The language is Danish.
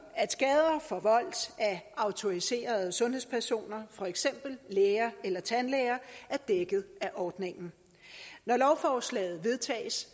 at skader forvoldt af autoriserede sundhedspersoner for eksempel læger eller tandlæger er dækket af ordningen når lovforslaget vedtages